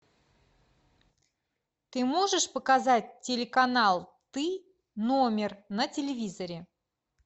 ты можешь показать телеканал ты номер на телевизоре